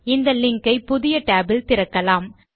இந்த லிங்க் ஐ புதிய tab இல் திறக்கலாம்